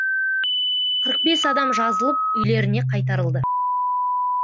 қырық бес адам жазылып үйлеріне қайтарылды